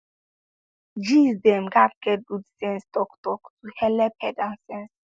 gees dem gatz get good sense talktalk to helep head and sense